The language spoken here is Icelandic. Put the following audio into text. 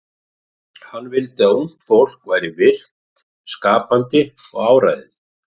Hann vildi að ungt fólk væri virkt, skapandi og áræðið.